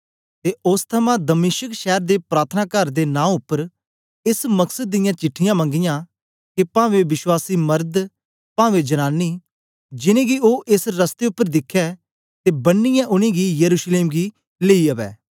ते ओस थमां दमिश्क शैर दे प्रार्थनाकार दे नां उपर एस मकसद दियां चिट्ठीयां मंगियां के पावें विश्वासी मरद पावें जनानी जिनेंगी ओ एस रस्ते उपर दिखै ते बन्नीयै उनेंगी यरूशलेम गी लेई अवै